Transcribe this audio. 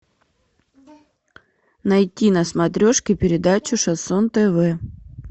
найти на смотрешке передачу шансон тв